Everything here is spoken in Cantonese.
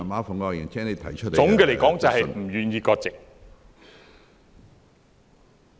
總的來說，便是不願意割席。